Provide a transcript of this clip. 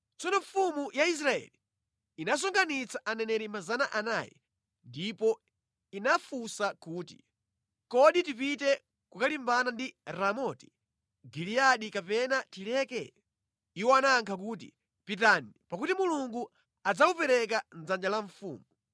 Tsono mfumu ya Israeli inasonkhanitsa aneneri 400 ndipo inawafunsa kuti, “Kodi tipite kukalimbana ndi Ramoti Giliyadi kapena tileke?” Iwo anayankha kuti, “Pitani, pakuti Mulungu adzawupereka mʼdzanja la mfumu.”